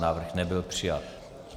Návrh nebyl přijat.